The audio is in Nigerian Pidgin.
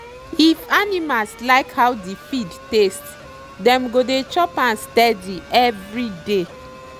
if animal like how the feed taste dem go dey chop am steady every day.